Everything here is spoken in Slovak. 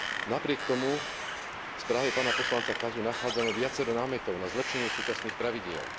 Napriek tomu v správe pána poslanca Casu nachádzame viacero námetov na zlepšenie súčasných pravidiel.